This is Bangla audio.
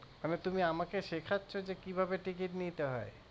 মানে তুমি আমাকে শেখাচ্ছ যে কিভাবে ticket নিতে হয়